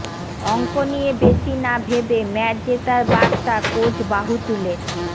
অঙ্ক নিয়ে বেশি না ভেবে ম্যাচ জেতার বার্তা কোচ বাহুতুলের